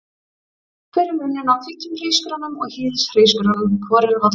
Hver er munurinn á hvítum hrísgrjónum og hýðishrísgrjónum, hvor eru hollari?